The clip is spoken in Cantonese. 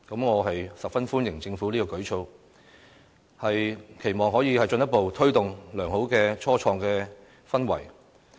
我十分歡迎政府這項舉措，期望可以進一步推動良好的初創氛圍。